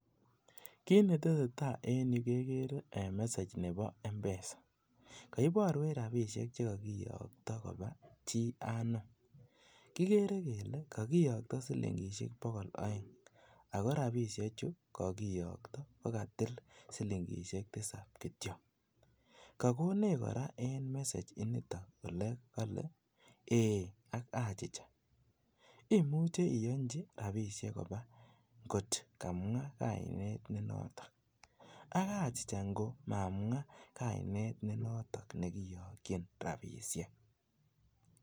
Kinetesee taa en yu kegere message nebo M-PESA, koiboruech rabisiek chekokiyokto kobaa chi anum, kigere kele kokiyokto silingisiek bogol oeng ako rabisiechu kokiyokto kokatil silingisiek tisab kityok, kokonech koraa en message initon kole eei anan achicha imuche iyonchi rabisiek kobaa kot kamwaa kainet nenoton ak achicha ngo mamwaa kainet nenoton nekiyokyin rabisiek.